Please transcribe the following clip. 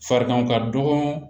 Fariganw ka dɔgɔ